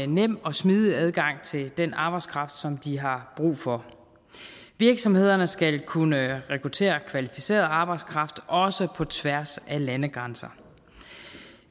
nem og smidig adgang til den arbejdskraft som de har brug for virksomhederne skal kunne rekruttere kvalificeret arbejdskraft også på tværs af landegrænser